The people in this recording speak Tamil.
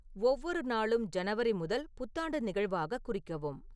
ஒவ்வொரு நாளும் ஜனவரி முதல் புத்தாண்டு நிகழ்வாகக் குறிக்கவும்